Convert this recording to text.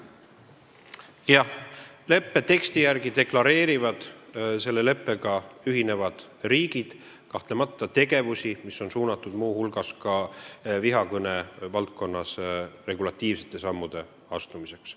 Jah, leppe teksti järgi deklareerivad selle leppega ühinevad riigid kahtlemata tegevusi, mis on suunatud muu hulgas vihakõne valdkonnas regulatiivsete sammude astumiseks.